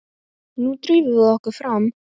Nú drífum við okkur fram!